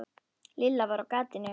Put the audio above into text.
Lilla var á gatinu.